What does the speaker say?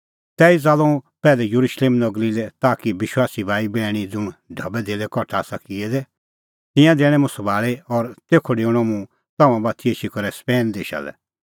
तैही च़ाल्लअ हुंह पैहलै येरुशलेम नगरी लै ताकि विश्वासी भाईबैहणी ज़ुंण ढबैधेल्लै कठा आसा किऐ दै तिंयां दैणैं मुंह सभाल़ी और तेखअ डेऊणअ मुंह तम्हां बाती एछी करै स्पेन देशा लै